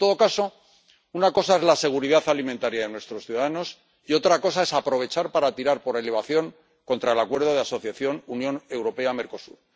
En todo caso, una cosa es la seguridad alimentaria de nuestros ciudadanos y otra cosa es aprovechar para tirar por elevación contra el Acuerdo de Asociación Unión Europea Mercosur.